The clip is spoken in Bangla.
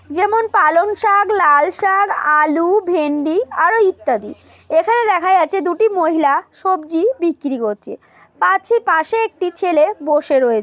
যেমন পালং শাক লাল শাক আলু ভেন্ডি আরো ইত্যাদি এখানে দেখা যাচ্ছে দুটি মহিলা সবজি বিক্রি করছে পাছে--পাশে একটি ছেলে বসে রয়ে--